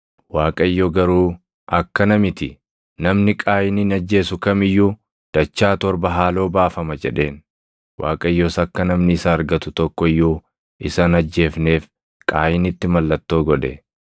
Waaqayyo garuu, “Akkana miti; namni Qaayinin ajjeesu kam iyyuu dachaa torba haaloo baafama” jedheen. Waaqayyos akka namni isa argatu tokko iyyuu isa hin ajjeefneef Qaayinitti mallattoo godhe.